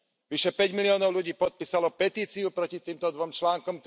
Vyše päť miliónov ľudí podpísalo petíciu proti týmto dvom článkom.